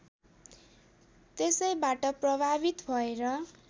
त्यसैबाट प्रभावित भएर